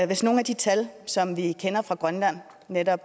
hvis nogle af de tal som vi kender fra grønland netop